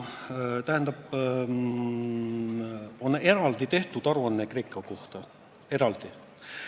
Nii, tähendab, on eraldi tehtud aruanne Kreeka kohta – eraldi!